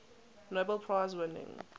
nobel prize winning